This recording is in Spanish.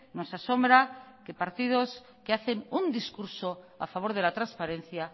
nos asombra que partidos que hacen un discurso a favor de la transparencia